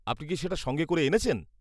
আপনি কি সেটা সঙ্গে করে এনেছেন?